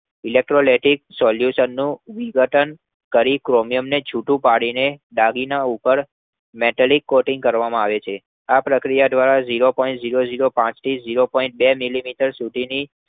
solution નું વિઘટન કરી ક્રોમિયમને છૂટું પાડીને દાગીના ઉપર મેટલક કરવામાં આવે છે. આ પ્રક્રિયા દ્વારા Zero point જીરો જીરો પાંચ થી zero point બે મિલિમીટર સુધીની